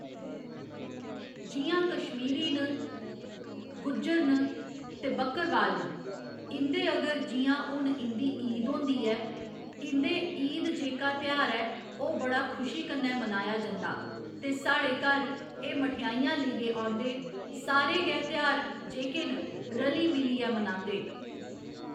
जि'यां कश्मीरी न गुज्जर न ते बक्करबाल न इं'दे अगर जि'यां हुन इं'दी ईद होंदी ऐ इं'दे ईद जेह्का ध्यार ऐ ओह्‌ बड़ा खुशी कन्नै मनाया जंदा ते साढ़े घर एह् मठैइयां लेइयै औंदे सारे गै ध्यार जेह्‌के न रली मिलियै मनांदे